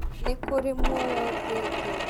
nikuri muoyo thĩ ingĩ?